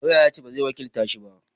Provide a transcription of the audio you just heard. Lauya ya ce ba zai wakilta shi ba